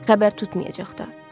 Xəbər tutmayacaq da.